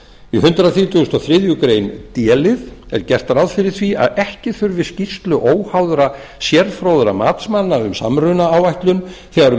í hundrað þrítugasta og þriðju grein d lið er gert ráð fyrir því að ekki þurfi skýrslu óháðra sérfróðra matsmanna um samrunaáætlun þegar um